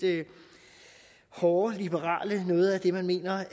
hårde liberale tror jeg noget af det man mener